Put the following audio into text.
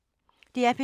DR P2